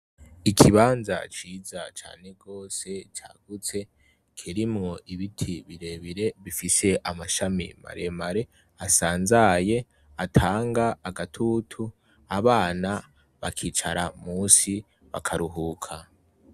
Ikibanza ciza cane gose cagutse, kirimwo ibiti birebire bifise amashami maremare, asanzaye, atanga agatutu, abana bakicara munsi bakaruhuka.